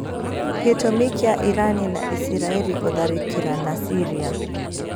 Gi͂tu͂mi ki͂a Irani na Isirai͂ri guthariki͂rana Syria